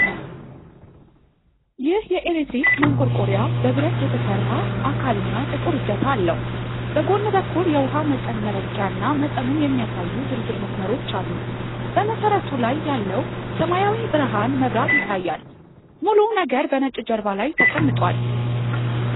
ይህ የኤሌክትሪክ ማንቆርቆሪያ በብረት የተሰራ አካል እና ጥቁር እጀታ አለው። በጎን በኩል የውሃ መጠን መለኪያ እና መጠኑን የሚያሳዩ ዝርዝር መስመሮች አሉ። በመሠረቱ ላይ ያለው ሰማያዊ ብርሃን መብራት ይታያል፤ ሙሉው ነገር በነጭ ጀርባ ላይ ተቀምጧል።